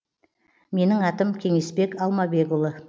менің атам кеңесбек алмабекұлы